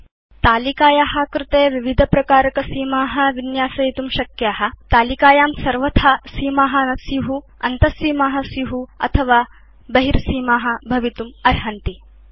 भवान् तालिकाया कृते विविधप्रकारकसीमा विन्यासयितुं शक्नोति भवदीयतालिकायां सर्वथा सीमा न स्यु अन्तसीमा स्यु अथवा केवलं बहिर् सीमा भवितुम् अर्हन्ति